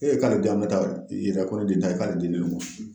Ee k'ale di an bɛ taa o, i ka kɔnɔ de da i ka dendulu ci